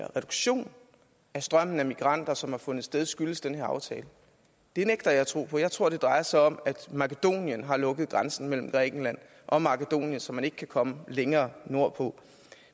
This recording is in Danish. reduktion af strømmen af migranter som har fundet sted skyldes den her aftale det nægter jeg at tro på jeg tror det drejer sig om at makedonien har lukket grænsen mellem grækenland og makedonien så man ikke kan komme længere nordpå